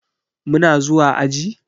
Muna zuwa aji?